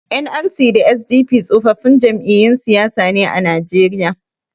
NRC da SDP tsofaffin jam'iyyun siyasa ne a Najeriya.